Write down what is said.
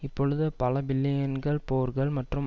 இப்பொழுது பல பில்லியன்கள் போர்கள் மற்றும்